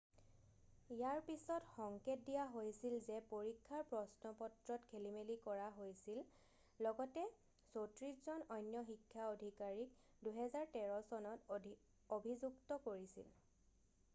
ইয়াৰ পিছত সংকেত দিয়া হৈছে যে পৰীক্ষাৰ প্ৰশ্নপত্ৰত খেলিমেলি কৰা হৈছিল লগতে 34 জন অন্য শিক্ষা অধিকাৰীক 2013 চনত অভিযুক্ত কৰিছিল